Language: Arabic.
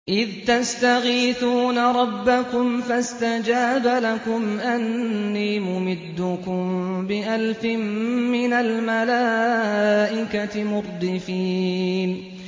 إِذْ تَسْتَغِيثُونَ رَبَّكُمْ فَاسْتَجَابَ لَكُمْ أَنِّي مُمِدُّكُم بِأَلْفٍ مِّنَ الْمَلَائِكَةِ مُرْدِفِينَ